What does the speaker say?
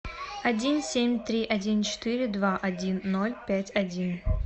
один семь три один четыре два один ноль пять один